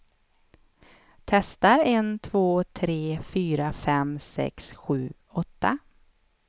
Testar en två tre fyra fem sex sju åtta.